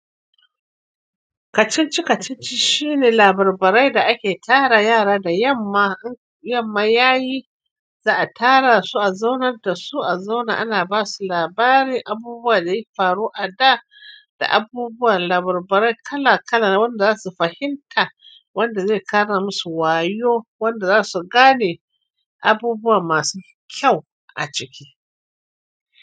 Kacici-kacici shine labarbarai da ake tara yara da yamma, in yamma yayi. Za a tara su, a zaunar da su a zauna ana basu labarin abubuwan da ya faru a da, da abubuwan labarbarai kala-kala wanda zasu fahimta, wanda zai ƙara musu wayo, wanda zasu gane. Abubuwa masu kyau a ciki.